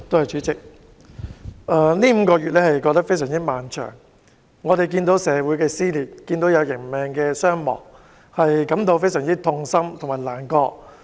主席，過去5個多月非常漫長，我們看到社會撕裂，人命傷亡，實在感到非常痛心和難過。